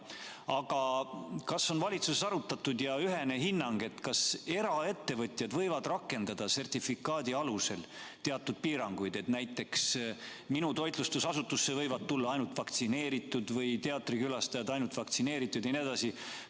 Aga kas on valitsuses arutatud ja ühene seisukoht, kas eraettevõtjad võivad rakendada sertifikaadi alusel teatud piiranguid, et näiteks minu toitlustusasutusse võivad tulla ainult vaktsineeritud või teatrikülastajad on ainult vaktsineeritud jne?